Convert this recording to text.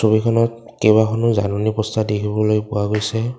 ছবিখনত কেইবাখনো জাননী পষ্টাৰ দেখিবলৈ পোৱা গৈছে।